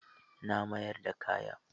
Na mayar da kayan.